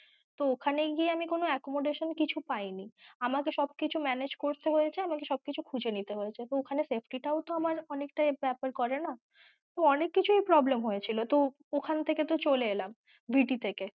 তো ওখানে গিয়ে আমি কোনো accommodation কিছু পায়িনী, আমাকে সব কিছু manage করতে হয়েছে, আমাকে সব কিছু খুজে নিতে হয়েছে তো ঐখানে safety টাও তো আমার অনেক টা ব্যাপার করে না ও অনেক কিছুই problem হয়েছিল তো ঐক্ষাণ থেকে তো চলে এলাম VT থেকে।